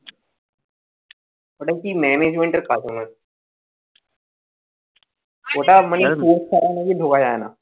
ও কি management এর কাজ মনে হয় ওটা নাকি source ছাড়া ঢোকা যায় না